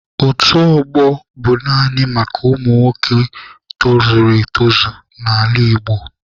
Otu ọgbọ bụ naanị maka ụmụ nwoke tozuru etozu n'ala Igbo.